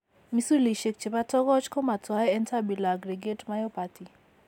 Misulishek chebo togoch ko matwae en tubular aggregate myopathy